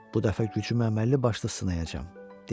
Bu dəfə gücüm əməlli başlı sınayacam,